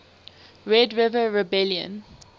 red river rebellion